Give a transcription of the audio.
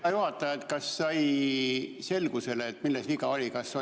Hea juhataja, kas sai selgust, milles viga oli?